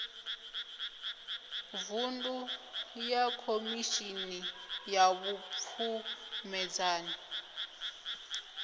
vuṅdu ya khomishini ya vhupfumedzani